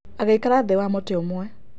Agĩikara thĩ wa mũtĩ ũmwe.